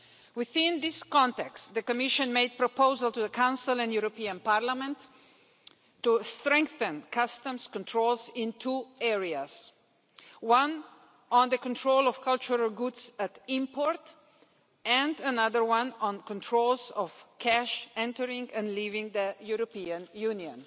Within this context, the Commission made proposals to the Council and Parliament to strengthen customs controls in two areas, one on the control of cultural goods at import and another one on controls on cash entering and leaving the European Union.